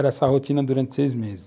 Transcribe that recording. Era essa rotina durante seis meses.